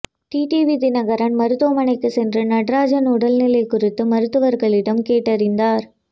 TTV Dhinakaran மருத்துவமனைக்கு சென்று நடராஜன் உடல்நிலை குறித்து மருத்துவர்களிடம் கேட்டறிந்தார்